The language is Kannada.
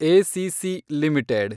ACC limited